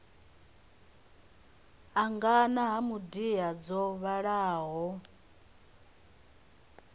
angana ha midia dzo vhalaho